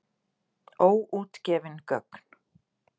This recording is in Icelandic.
Óútgefin gögn.